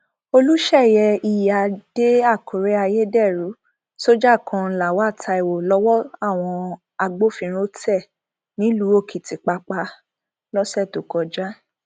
olùṣeyẹ iyíáde àkùrẹ ayédèrú sójà kan lawal taiwo lowó àwọn agbófinró tẹ nílùú òkìtìpápá lọsẹ tó kọjá